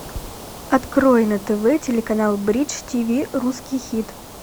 открой на тв телеканал бридж тиви русский хит